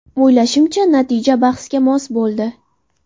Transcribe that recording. O‘ylashimcha, natija bahsga mos bo‘ldi.